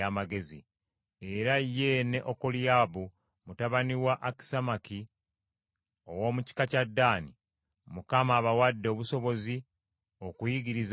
Era ye ne Okoliyaabu mutabani wa Akisamaki ow’omu kika kya Ddaani, Mukama abawadde obusobozi okuyigiriza abalala.